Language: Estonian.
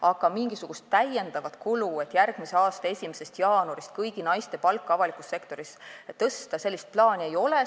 Aga sellist plaani, et järgmise aasta 1. jaanuarist tuleks avalikus sektoris kõigi naiste palka tõsta, ei ole.